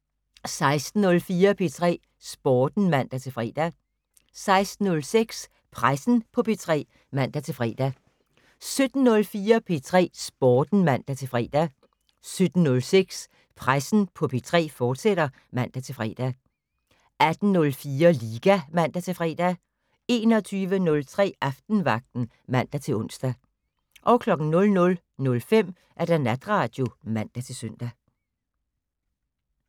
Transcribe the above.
16:04: P3 Sporten (man-fre) 16:06: Pressen på P3 (man-fre) 17:04: P3 Sporten (man-fre) 17:06: Pressen på P3, fortsat (man-fre) 18:04: Liga (man-fre) 21:03: Aftenvagten (man-ons) 00:05: Natradio (man-søn)